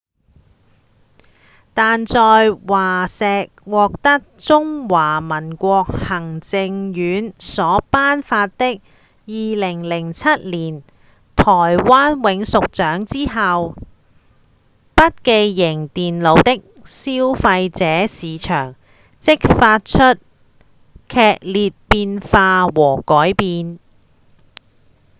但在華碩獲得中華民國行政院所頒發的2007年台灣永續獎之後筆記型電腦的消費者市場即發生劇烈變化和改變